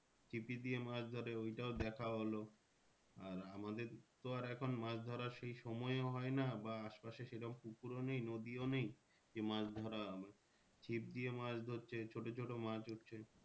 ছিপি দিয়ে মাছ ধরে ওইটাও দেখা হলো। আর আমাদের তো আর এখন মাছ ধরার সেই সময়ও হয় না বা আশপাশে সেরকম পুকুরও নেই নদীও নেই যে মাছ ধরা হবে চিপ দিয়ে মাছ ধরছে ছোটো ছোটো মাছ উঠছে।